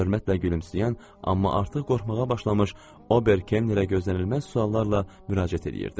Hörmətlə gülümsəyən, amma artıq qorxmağa başlamış Ober Kennerə gözlənilməz suallarla müraciət eləyirdi.